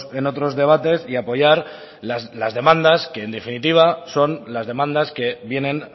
en otros debates y apoyar las demandas que en definitiva son las demandas que vienen